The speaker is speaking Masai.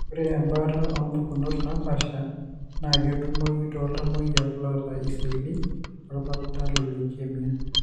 ore embaata opukunot napasha na ketumoyu toltamoyiak loota iseli lolpapit elukeimia.